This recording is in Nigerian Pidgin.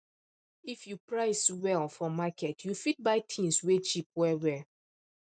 if you price well for market you fit buy things wey cheap well well